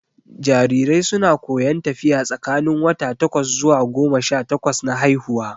Jarirai su na koyon tafiya tsakanin wata takwas zuwa goma sha takwas na haihuwa